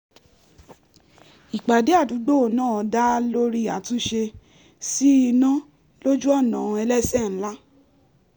ìpàdé àdúgbò náà dá lórí àtúnṣe sí iná lójú ọ̀nà ẹlẹ́sẹ̀ ńlá